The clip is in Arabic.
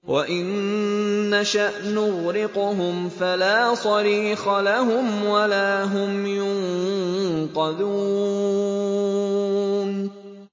وَإِن نَّشَأْ نُغْرِقْهُمْ فَلَا صَرِيخَ لَهُمْ وَلَا هُمْ يُنقَذُونَ